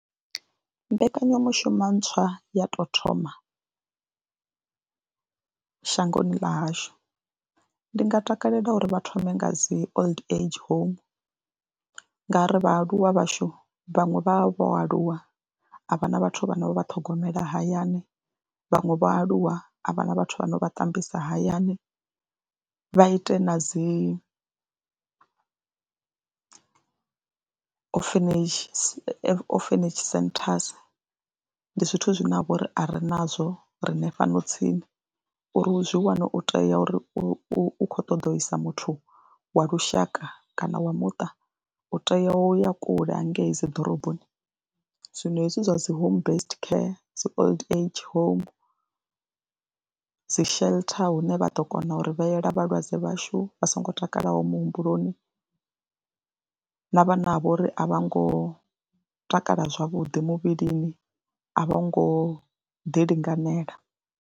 Mbekanyamushumo ntswa ya tou thoma shangoni ḽa hashu ndi nga takalela uri vha thome nga dzi old age home ngauri vhaaluwa vhashu vhaṅwe vha vha vho aluwa a vha na vhathu vhane vha vha ṱhogomela hayani, vhaṅwe vho aluwa a vha na vhathu vhane vha ṱambisa hayani. Vha ite na dzi orphanage centers, ndi zwithu zwine ha vha uri a ri nazwo riṋe fhano tsini uri u zwi wane u tea uri u khou ṱoḓa u isa muthu wa lushaka kana wa muṱa u tea u ya kule hangei dzi ḓoroboni. Zwino hezwi zwa dzi home based care, dzi old age home dzi shelter hune vha ḓo kona uri vhetshela vhalwadze vhashu vha songo takalaho muhumbuloni na vhane ha vha uri a vho ngo takala zwavhuḓi muvhilini, a vho ngo ḓi linganela.